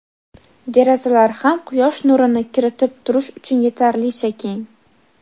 derazalar ham quyosh nurini kiritib turish uchun yetarlicha keng.